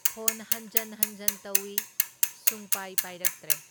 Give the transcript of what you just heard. ꯐꯣꯟꯍꯟꯖꯟ ꯍꯟꯖꯟ ꯇꯧꯢ, ꯁꯨꯡꯄꯥꯏ ꯄꯥꯏꯔꯛꯇ꯭ꯔꯦ꯫